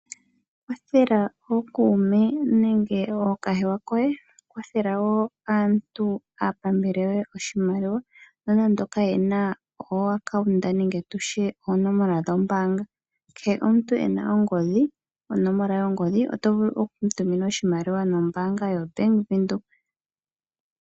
Kwathela ookuume nenge ookahewa koye, kwathela woo aantu aapambele yoye oshimaliwa nonando ka ye na oonomla dhombaanga. Kehe omuntu ena ongodhi, onomola yongodhi oto vulu oku mu tumina oshimaliwa nombaanga yaVenduka.